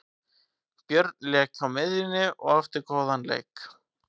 Björn lék á miðjunni og átti góðan leik.